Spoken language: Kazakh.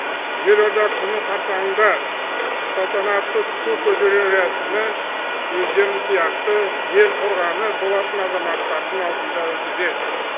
елорда күні қарсаңында салтанатты ту көтеру рәсімі өздерің сияқты ел қорғаны болатын азаматтардың алдында өтуде